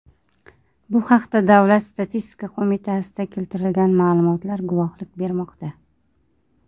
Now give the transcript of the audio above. Bu haqda Davlat statistika qo‘mitasida keltirilgan ma’lumotlar guvohlik bermoqda .